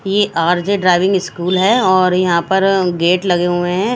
ये RJ driving school है और यहाँ पर गेट लगे हुए हैं।